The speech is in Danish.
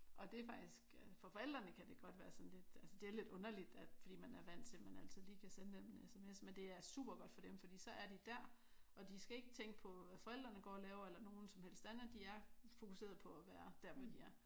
Og det er faktisk for forældrene kan det godt være sådan lidt altså det er lidt underligt fordi man er vant til at man altid lige kan sende dem en SMS. Men det er super godt for dem fordi så er de dér og de skal ikke tænke på hvad forældrene går og laver eller nogen som helst andet. De er fokuseret på at være der hvor de er